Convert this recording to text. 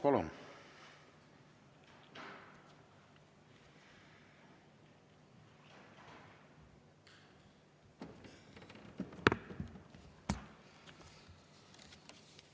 Palun!